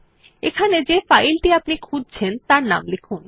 এখানে যে ফাইল টি আপনি খুঁজছেন তার নাম লিখুন